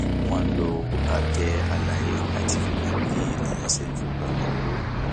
wọn lo àtẹ àlàyé láti fi mọ bí èèyàn ṣe ń fipamọ owó